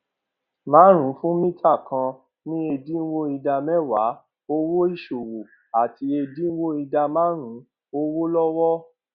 márùnún fún mítà kan ní ẹdínwó ìdá méwàá owó ìṣòwò àti ẹdínwó ìdá márùnún owó lọwọ